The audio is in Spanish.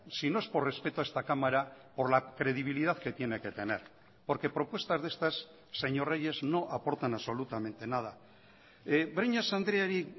si no es por respeto a esta cámara por la credibilidad que tiene que tener porque propuestas de estas señor reyes no aportan absolutamente nada breñas andreari